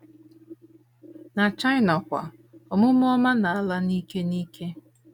Na China kwa, omume ọma na - ala n’ike n’ike.